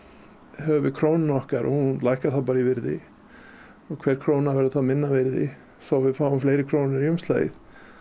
höfum við krónuna okkar og hún lækkar þá bara í virði og hver króna verður þá minna virði þó við fáum fleiri krónur í umslagið